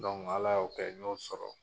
Dɔnku Ala y'o kɛ n y'o sɔrɔ .